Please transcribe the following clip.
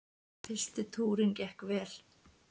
Fyrsti túrinn gekk vel.